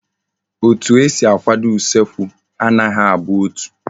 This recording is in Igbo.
Etu esi akwado usekwu anaghi abụ otu